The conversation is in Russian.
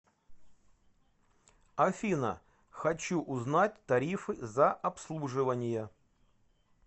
афина хочу узнать тарифы за обслуживания